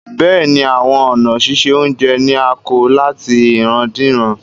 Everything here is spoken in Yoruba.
Bẹ́ẹ̀ni, awọn ọ̀na sísẹ ọ̀unjẹ ni à kọ̀ látì ìràndíràn